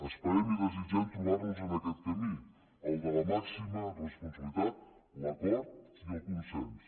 esperem i desitgem trobar nos en aquest camí el de la màxima responsabilitat l’acord i el consens